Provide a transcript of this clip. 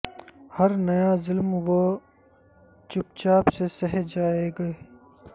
ہر نیا ظلم وہ چپ چاپ سے سہہ جائیں گے